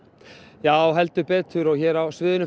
já heldur betur hér á sviðinu